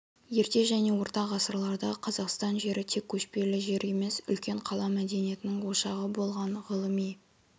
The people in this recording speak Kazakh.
ерте және орта ғасырларда қазақстан жері тек көшпелі жер емес үлкен қала мәдениетінің ошағы болған ғылыми